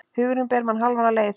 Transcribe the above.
Hugurinn ber mann hálfa leið.